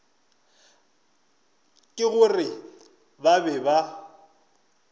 ke gore ba be ba